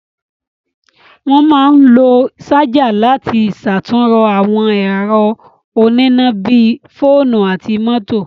Wọ́n máa ń lo ṣájà láti ṣàtúnrọ àwọn ẹ̀rọ oníná bí i fóònú àti mọ́tò.